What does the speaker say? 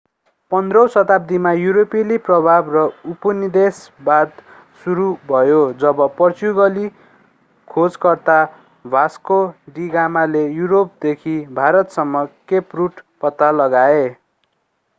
15औँ शताब्दीमा युरोपेली प्रभाव र उपनिवेशवाद सुरु भयो जब पोर्चुगाली खोजकर्ता भास्को डि गामाले युरोपदेखि भारतसम्म केप रुट पत्ता लगाए